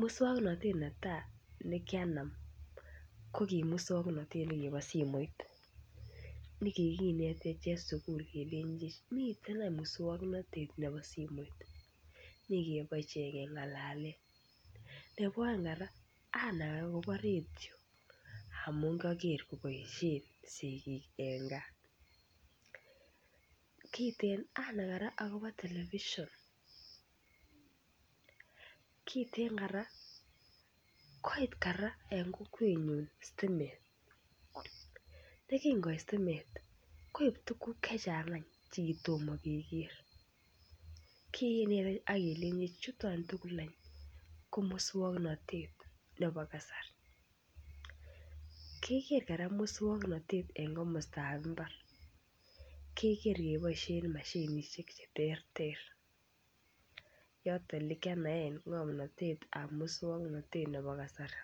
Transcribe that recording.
moswoknatet netai nekianam ko ki moswoknatet nekibo simoit ne kikinetech en sukul kelenjech miten any moswoknatet nebo simoit ne keboisien kengalalen nebo aeng kora anai agobo radio amun kiager koboisien sigik en gaa kiten anai kora agobo television kiten kora koit kokwenyun kora sitimet ye kin koit sitimet koib tuguk Che Chang any Che kitom keger kin kelenchech chuton tugul ko moswoknatet nebo kasari keger kora moswoknatet en komostab mbar keger keboisien mashinisiek Che terter yoton yekianaen ngomnatet ab moswoknatet nebo kasari